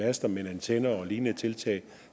master men antenner og lignende